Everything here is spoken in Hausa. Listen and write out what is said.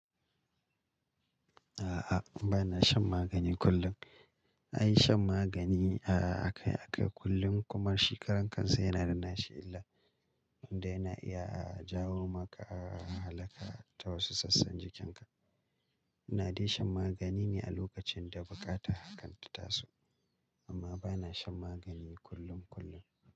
A'a, ba na shan magani kullum. Ai shan magani ah akai akai kullum kuma shi karan kansa yana da nasa illar, tunda yana iya jawo maka halaka ta wasu San san jikinka ina dai shan magani ne a lokacin da bukatar hakan ta taso, amma bana shan magani kullum kullum.